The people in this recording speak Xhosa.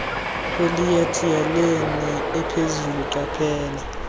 polyethylene ephezulu qaphela